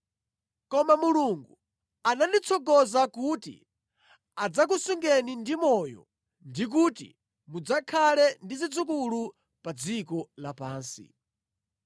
Koma Mulungu ananditsogoza kuti adzakusungeni ndi moyo ndi kuti mudzakhale ndi zidzukulu pa dziko lapansi.